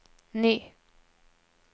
ny